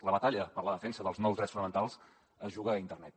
la batalla per la defensa dels nous drets fonamentals es juga a internet